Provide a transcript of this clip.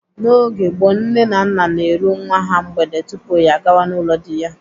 N'oge gboo, nne na nna na-eru nwa ha mgbede tupu ya agawa n'ụlọ dị ya.